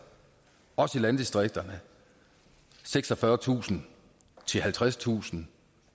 også i landdistrikterne seksogfyrretusind halvtredstusind